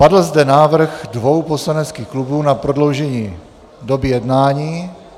Padl zde návrh dvou poslaneckých klubů na prodloužení doby jednání.